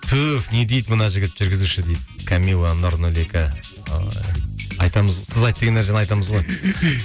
түф не дейді мына жігіт жүргізуші дейді камилла ой айтамыз айт деген нәрсені айтамыз ғой